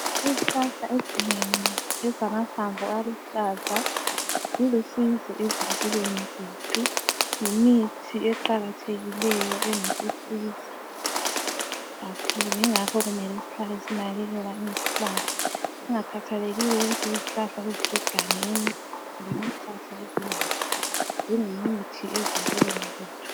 Izihlahla ezinengi ezilamahlamvu aluhlaza zilusizo ezimpilweni zethu ngemithi eqakathekileyo engasisiza kakhulu ingakho kumele sihlale sinakekela izihlahla. Kungakhathalekile ukuthi yizihlahla ezisegangeni kumbe yizihlahla ezendlini, zingumuthi ezimpilweni zethu.